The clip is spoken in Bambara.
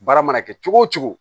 Baara mana kɛ cogo o cogo